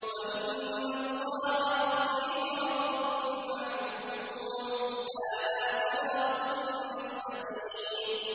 وَإِنَّ اللَّهَ رَبِّي وَرَبُّكُمْ فَاعْبُدُوهُ ۚ هَٰذَا صِرَاطٌ مُّسْتَقِيمٌ